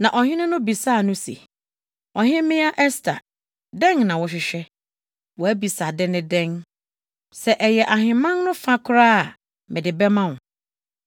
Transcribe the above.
Na ɔhene no bisaa no se, “Ɔhemmea Ɛster, dɛn na wohwehwɛ? Wʼabisade ne dɛn? Sɛ ɛyɛ ahemman no fa koraa a, mede bɛma wo!”